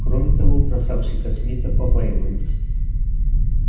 кроме того красавчика смита побаивались